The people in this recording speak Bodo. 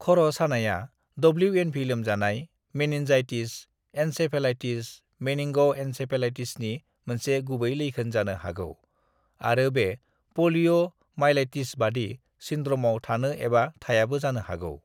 "खर' सानायआ डब्लिउ.एन.भि लोमजानाय, मेनिन्जाइटिस, एन्सेफेलाइटिस, मेनिंग'एन्सेफलाइटिसनि मोनसे गुबै लैखोन जानो हागौ, आरो बे प'लिय'माइलाइटिसबादि सिन्ड्र'मआव थानो एबा थायाबो जानो हागौ।"